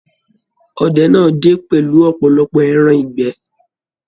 Ọdẹ náà dé pẹlú ọpọlọpọ ẹran ìgbẹ́.